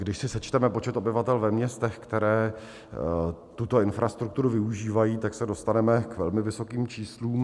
Když si sečteme počet obyvatel ve městech, která tuto infrastrukturu využívají, tak se dostaneme k velmi vysokým číslům.